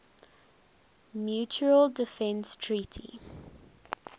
mutual defense treaty